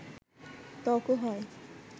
ত্বকও হয়